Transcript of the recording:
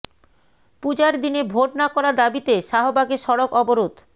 পূজার দিনে ভোট না করার দাবিতে শাহবাগে সড়ক অবরোধ